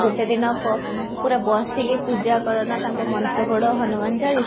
ଗୋଟେ ଦିନକ ପୁରା ବସିକି ପୂଜା କର ନା ତାଙ୍କ ମନ୍ତ୍ର ପଢ ହନୁମାନ ଚାଳିଶା